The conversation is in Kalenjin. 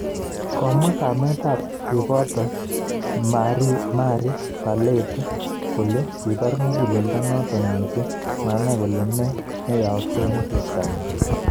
Komwa kamet ab cheboto Marie Barlett kole kibar muguleldo noto missing manai kole ne neyaaksin chebtanyi